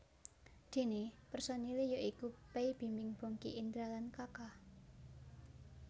Déné personilé ya iku Pay Bimbim Bongky Indra lan Kaka